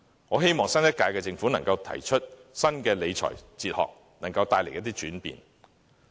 我希望新一屆政府可以提出新的理財哲學，並帶來一些轉變。